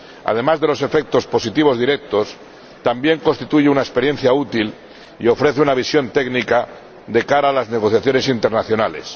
además de los efectos positivos directos, también constituye una experiencia útil y ofrece una visión técnica de cara a las negociaciones internacionales.